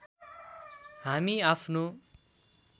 हामी आफ्नो